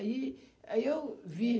E, aí eu vi.